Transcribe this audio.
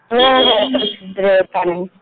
हो हो प्रसीद्ध देवस्थान आहे